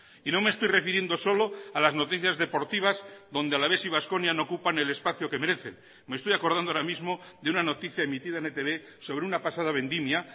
y no me estoy refiriendo solo a las noticias deportivas donde alavés y baskonia no ocupan el espacio que merecen me estoy acordando ahora mismo de una noticia emitida en etb sobre una pasada vendimia